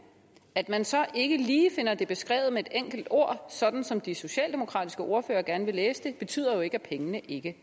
at man så ikke lige finder det beskrevet med et enkelt ord sådan som de socialdemokratiske ordførere gerne vil læse det betyder jo ikke at pengene ikke